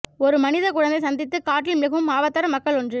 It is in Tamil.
ஒரு மனித குழந்தை சந்தித்து காட்டில் மிகவும் ஆபத்தான மக்கள் ஒன்று